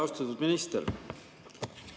Austatud minister!